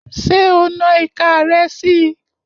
Ṣé o na ìka rẹ si?